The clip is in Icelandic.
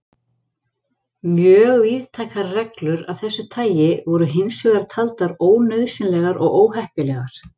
Mjög víðtækar reglur af þessu tagi voru hins vegar taldar ónauðsynlegar og óheppilegar.